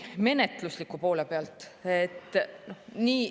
Menetlusliku poole pealt.